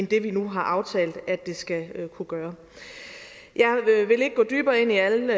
det vi nu har aftalt at det skal kunne gøre jeg vil ikke gå dybere ind i alle